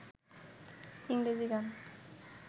ইংরেজি গান